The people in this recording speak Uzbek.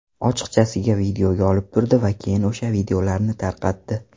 Ochiqchasiga videoga olib turdi va keyin o‘sha videolarni tarqatdi.